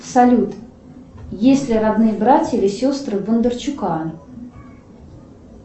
салют есть ли родные братья или сестры у бондарчука